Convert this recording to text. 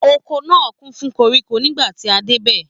Oko náà kún fún koríko nígbàtí a dé bẹ̀